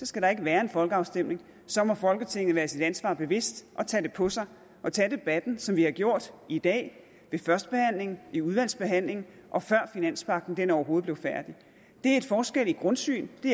skal der ikke være en folkeafstemning så må folketinget være sig sit ansvar bevidst og tage det på sig og tage debatten som vi har gjort i dag ved første behandling i udvalgsbehandling og før finanspagten overhovedet blev færdig det er en forskel i grundsyn det